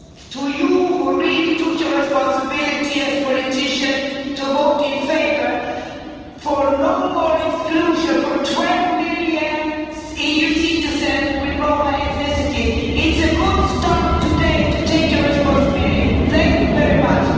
To you who really took your responsibility as politicians to vote in favour of no more exclusion of the 12 million EU citizens with Roma ethnicity, it is a good start, taking your responsibility. Thank you very much.